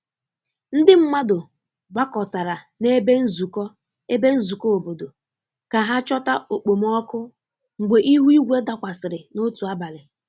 Ndị mmadụ gbakọtara na ebe nzuko ebe nzuko obodo ka ha chota okpomọkụ mgbe ihu igwe dakwasịrị n'otu abalị.